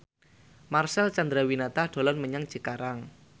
Marcel Chandrawinata dolan menyang Cikarang